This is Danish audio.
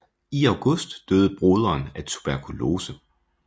I august døde broderen af tuberkulose